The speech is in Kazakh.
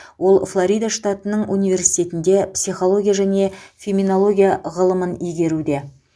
ол флорида штатының университетінде психология және феминология ғылымын игеруде